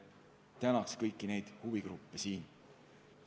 Tänan kõiki neid huvigruppe!